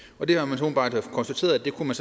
man konstateret at det kunne man